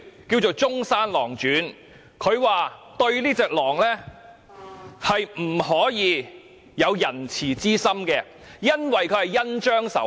他以《中山狼傳》作比喻，說明不可對狼有仁慈之心，因為狼會恩將仇報。